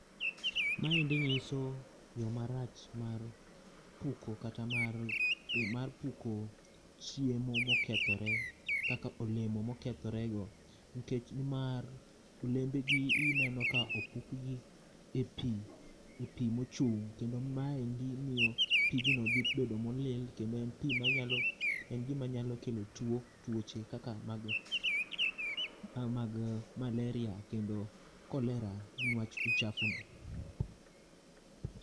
Maendi nyiso yoo marach mar puko kata mar, mar puko chiemo mokethore kaka olemo mokethore go. Nikech nimar olembegi ineno ka opukgi e pii ,e pii mochung kendo maendi miyo pigno dhi bedo molil, kendo en pii manyalo, en pii manyalo kelo tuoche kaka mag malaria kod cholera nikech uchafu no